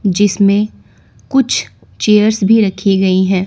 जिसमें कुछ चेयर्स भी रखीं गयी है।